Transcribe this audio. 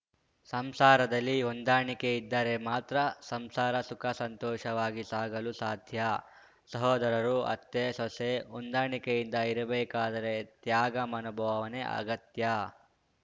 ಸಂಸಾರದಲ್ಲಿ ಹೊಂದಾಣಿಕೆ ಇದ್ದರೆ ಮಾತ್ರ ಸಂಸಾರ ಸುಖ ಸಂತೋಷವಾಗಿ ಸಾಗಲು ಸಾಧ್ಯ ಸಹೋದರರು ಅತ್ತೆ ಸೊಸೆ ಹೊಂದಾಣಿಕೆಯಿಂದ ಇರಬೇಕಾದರೆ ತ್ಯಾಗ ಮನೋಭಾವನೆ ಅಗತ್ಯ